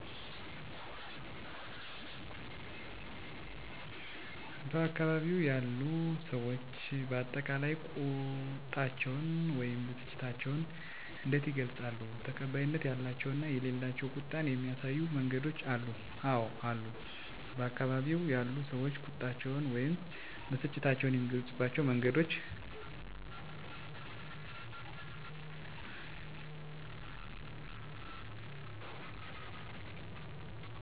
በአካባቢው ያሉ ሰዎች በአጠቃላይ ቁጣቸውን ወይም ብስጭታቸውን እንዴት ይገልጻሉ? ተቀባይነት ያላቸው እና የሌላቸው ቁጣን የሚያሳዩ መንገዶች አሉ? *አወ አሉ፦ በአካባቢው ያሉ ሰዎች ቁጣቸውን ወይም ብስጭታቸውን የሚገልጹባቸው መንገዶች፦ * የቃል ንግግር *የፊት ገጽታን መለወጥ (ፊትን ማኮሳተር)፣ *የእጅ ምልክቶችን ማሳየት፣ **ለምሳሌ፦ ተቀባይነት ያላቸው * ትዕግስት እና መረጋጋት: * አረጋውያንን ለሽምግልና ማሳተፍ።: * ስሜትን በጥንቃቄ መግለጽ: **ለምሳሌ፦ ተቀባይነት የሌላቸው * አካላዊ ጥቃት * ከፍተኛ ጩኸት እና ስድብ: * ንብረት ማውደም: በአጠቃላይ፣ ባካባቢው ያሉ ሰዎች ቁጣ እና ብስጭታቸውን በሰላማዊና በሽምግልና ይፈታሉ።